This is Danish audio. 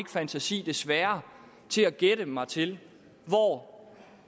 fantasi desværre til at gætte mig til hvor